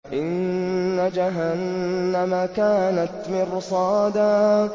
إِنَّ جَهَنَّمَ كَانَتْ مِرْصَادًا